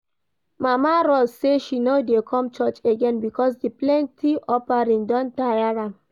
Mama Rose say she no dey come church again because the plenty offering don tire am